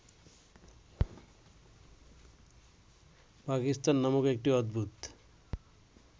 পাকিস্তান নামক একটি অদ্ভুত